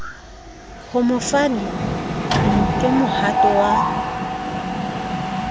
ho mofani ke mohato wa